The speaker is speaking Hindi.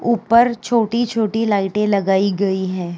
ऊपर छोटी-छोटी लाइटे लगाई गई हैं।